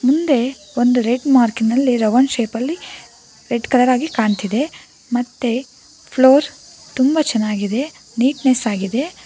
ಹಿಂದೆ ಒಂದು ರೆಡ್ ಮಾರ್ಕಿನಲ್ಲಿ ರೌಂಡ್ ಶೇಪಲ್ಲಿ ರೆಡ್ ಕಲರ್ ಆಗಿ ಕಾಣ್ತಿದೆ ಮತ್ತೆ ಫ್ಲೋರ್ ತುಂಬಾ ಚೆನ್ನಾಗಿದೆ ನೀಟ್ನೆಸ್ ಆಗಿದೆ.